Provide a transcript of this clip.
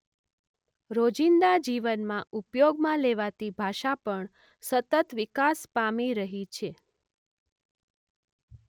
રોજિંદા જીવનમાં ઉપયોગમાં લેવાતી ભાષા પણ સતત વિકાસ પામી રહી છે.